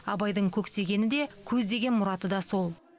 абайдың көксегені де көздеген мұраты да сол